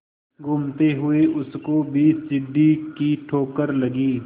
घूमते हुए उसको भी सीढ़ी की ठोकर लगी